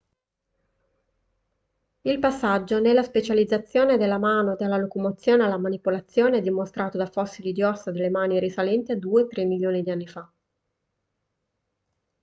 il passaggio nella specializzazione della mano dalla locomozione alla manipolazione è dimostrato da fossili di ossa delle mani risalenti a due/tre milioni di anni fa